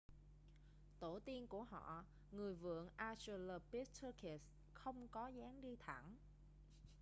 tổ tiên của họ người vượn australopithecus không có dáng đi thẳng